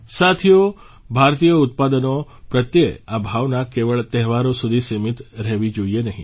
સાથીઓ ભારતીય ઉત્પાદનો પ્રત્યે આ ભાવના કેવળ તહેવારો સુધી સિમીત રહેવી જોઇએ નહીં